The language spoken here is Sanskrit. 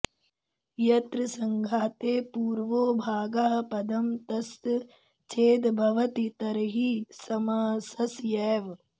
यत्र सङ्घाते पूर्वो भागः पदं तस्य चेद्भवति तर्हि समासस्यैव